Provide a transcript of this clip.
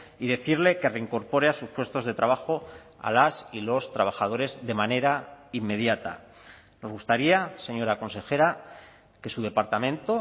y decirle que reincorpore a sus puestos de trabajo a las y los trabajadores de manera inmediata nos gustaría señora consejera que su departamento